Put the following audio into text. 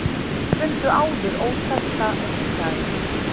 Fundu áður óþekkta risaeðlu